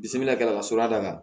Bisimila ka sɔrɔ a da la